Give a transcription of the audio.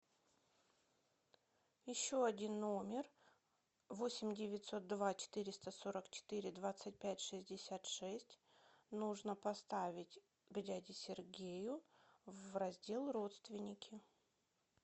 еще один номер восемь девятьсот два четыреста сорок четыре двадцать пять шестьдесят шесть нужно поставить к дяде сергею в раздел родственники